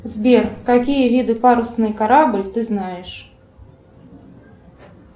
сбер какие виды парусный корабль ты знаешь